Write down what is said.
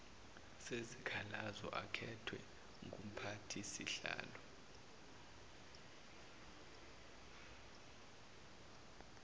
sezikhalazo akhethwe ngumphathisihlalo